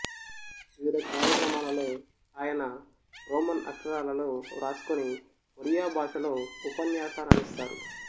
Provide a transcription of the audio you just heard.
వివిధ కార్యక్రమాలలో ఆయన రోమన్ అక్షరాలలో వ్రాసుకొని ఒరియా భాషలో ఉపన్యాసాలనిస్తారు